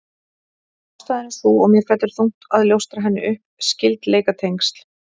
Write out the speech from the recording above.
Ástæðan er sú, og mér fellur þungt að ljóstra henni upp: Skyldleikatengsl